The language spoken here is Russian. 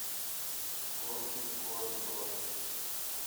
горки город бронь